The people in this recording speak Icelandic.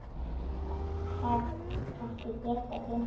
Hef ekki getað gleymt því.